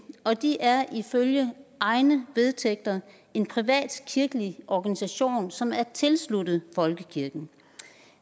og de er ifølge egne vedtægter en privat kirkelig organisation som er tilsluttet folkekirken